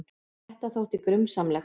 Þetta þótti grunsamlegt.